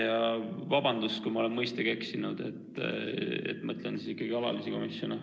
Ja vabandust, kui ma olen mõistega eksinud, mõtlen ikka alalisi komisjone.